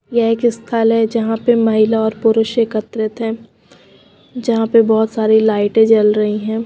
यह एक स्थल है जहां पे महिला और पुरुष एकत्रित हैं जहां पे बहुत सारी लाइटें जल रही हैं।